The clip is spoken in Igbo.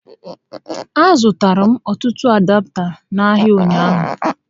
A zụtara m ọtụtụ adapta n'ahịa ụnyaahụ